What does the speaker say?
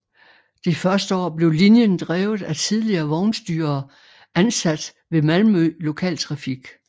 Det første år blev linjen drevet af tidligere vognstyrere ansat ved Malmö Lokaltrafik